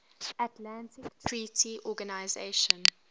atlantic treaty organisation